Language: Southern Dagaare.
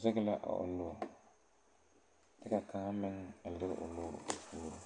zege la a o nu ka kaŋa meŋ a lire o nuure o puoreŋ.